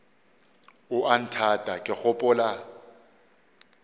o a nthata ke gopola